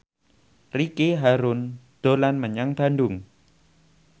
Ricky Harun dolan menyang Bandung